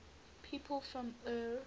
people from eure